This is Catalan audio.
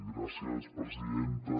gràcies presidenta